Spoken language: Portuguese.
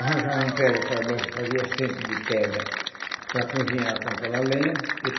Arranjavam pedra, fazia as tampas de pedra para cozinhar com aquela lenha.